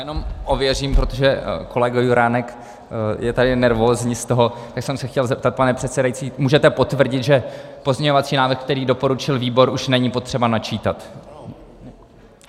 Jenom ověřím, protože kolega Juránek je tady nervózní z toho, tak jsem se chtěl zeptat, pane předsedající - můžete potvrdit, že pozměňovací návrh, který doporučil výbor, už není potřeba načítat?